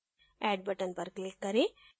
add button पर click करें